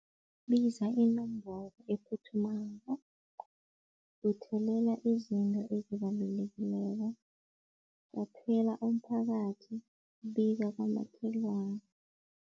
Bizwa inomboro ephuthumako, buthelela izinto ezibalulekileko umphakathi, biza abomakhelwana.